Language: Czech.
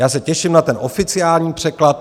Já se těším na ten oficiální překlad.